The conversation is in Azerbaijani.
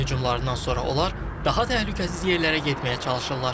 İsrailin hücumlarından sonra onlar daha təhlükəsiz yerlərə getməyə çalışırlar.